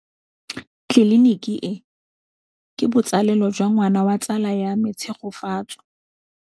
Tleliniki e, ke botsalêlô jwa ngwana wa tsala ya me Tshegofatso.